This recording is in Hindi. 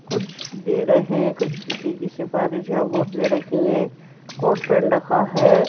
कुछ दे रहे हैं कुछ किसी की सिफारिश में बोतलें रखी हैं। कोट पैंट रखा है।